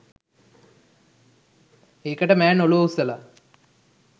ඒකට මෑන් ඔලුව උස්සල